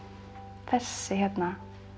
þessi hérna